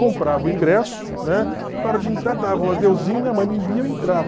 Comprava o ingresso, né na hora de entrar dava o adeuzinho, minha mãe me via e eu entrava.